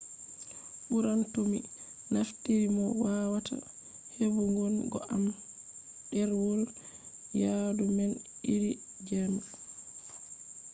ɓuran to mi naftiri mo wawata heɓugon go am ɗerwol yaadu man iri jema